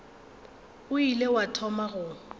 o ile wa thoma go